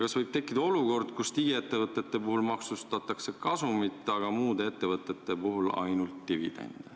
Kas võib tekkida olukord, kus digiettevõtete puhul maksustatakse kasumit, aga muude ettevõtete puhul ainult dividende?